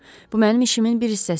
Bu mənim işimin bir hissəsi idi.